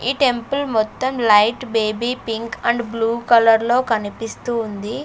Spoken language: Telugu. ఈ టెంపుల్ మొత్తం light baby pink and blue కలర్లో కనిపిస్తూ ఉంది.